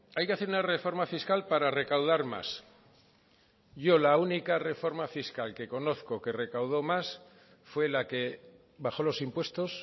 hay que hacer una reforma fiscal para recaudar más yo la única reforma fiscal que conozco que recaudó más fue la que bajó los impuestos